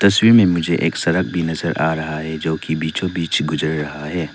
तस्वीर में मुझे एक सड़क भी नजर आ रहा है जो की बीचों बीच गुजर रहा है।